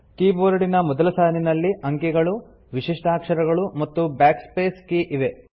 ಕೀಬೋರ್ಡಿನ ಮೊದಲ ಸಾಲಿನಲ್ಲಿ ಅಂಕಿಗಳು ವಿಶಿಷ್ಟಾಕ್ಷರಗಳು ಮತ್ತು Backspace ಕೀ ಇವೆ